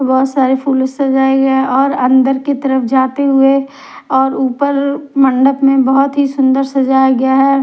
बहोत सारे फूलो से सजाए गया है और अंदर की तरफ जाते हुए और ऊपर मंडप में बहोत ही सुंदर सजाया गया है।